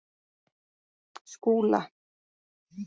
Skúla